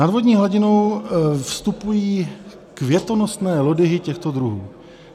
Nad vodní hladinu vystupují květonosné lodyhy těchto druhů.